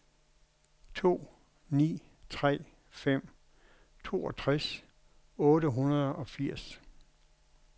to ni tre fem toogtres otte hundrede og firs